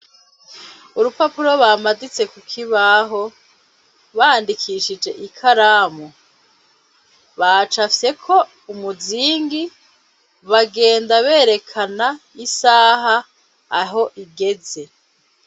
Urupapuro bamaditse kukibaho, bandikishije ikaramu, bacapfyeko umuzingi, bagenda berekana isaha aho igeze.